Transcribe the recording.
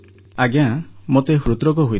ଆଜ୍ଞା ମୋତେ ହୃଦରୋଗ ହୋଇଥିଲା